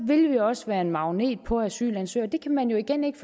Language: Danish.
vil vi også være en magnet på asylansøgere det kan man jo igen ikke